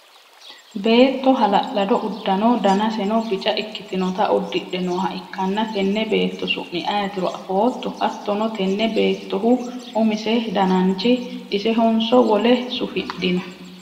beetto hala'lado uddano danaseno bica ikkitinota uddidhe nooha ikkanna tenne beetto su'mi ayeetiro afootto? hattono tenne beettohu umise dananchi isehonso wole sufidhino?